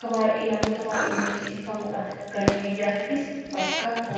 kan namoota baay'eetiin dinqisiifamudha. Galii biyyaatiifis bakka fayyadudha.